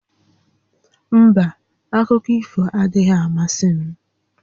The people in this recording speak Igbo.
Mba, akụkọ ifo adịghị amasị m